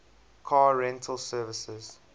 car rental services